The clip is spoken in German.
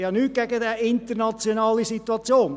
ich habe nichts gegen diese internationale Situation.